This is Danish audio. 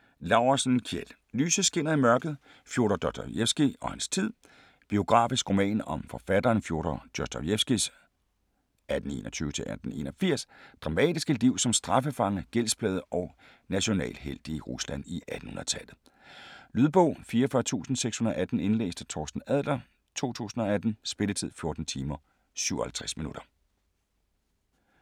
Laursen, Kjeld: Lyset skinner i mørket: Fjodor Dostojevskij og hans tid Biografisk roman om forfatteren Fjodor Dostojevskijs (1821-1881) dramatiske liv som straffefange, gældsplaget og national helt i Rusland i 1800-tallet. Lydbog 44618 Indlæst af Torsten Adler, 2018. Spilletid: 14 timer, 57 minutter.